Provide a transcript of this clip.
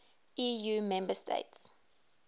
eu member states